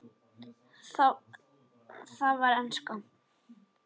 Það var enska.